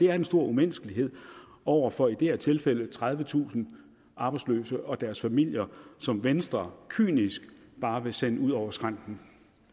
er en stor umenneskelighed over for i det her tilfælde tredivetusind arbejdsløse og deres familier som venstre kynisk bare vil sende ud over skrænten